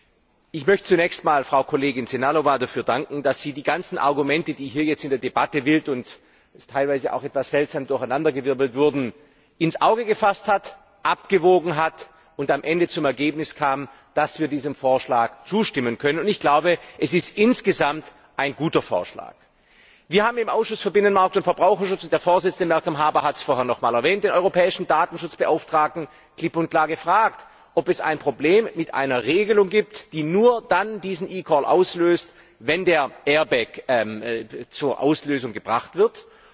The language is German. Zunächst einmal möchte ich Frau Kollegin Sehnalová dafür danken, dass sie die ganzen Argumente, die hier jetzt in der Debatte wild und teilweise auch etwas seltsam durcheinandergewirbelt wurden, aufgegriffen hat, abgewogen hat, und am Ende zu dem Ergebnis kam, dass wir diesem Vorschlag zustimmen können. Es ist insgesamt ein guter Vorschlag. Wir haben im Ausschuss für Binnenmarkt und Verbraucherschutz der Vorsitzende, Malcolm Harbour, hat es vorhin nochmals erwähnt den Europäischen Datenschutzbeauftragten klipp und klar gefragt, ob es ein Problem mit einer Regelung gibt, die nur dann diesen eCall auslöst, wenn der Airbag zur Auslösung gebracht wird.